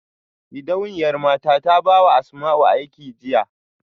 Gidauniyar mata ta baiwa Asmau aiki jiya